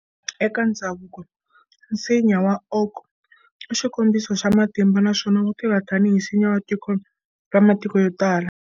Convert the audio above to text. Eka ndzhavuko, nsinya wa oak i xikombiso xa matimba naswona wutirha tanihi nsinya wa tiko ra matiko yotala.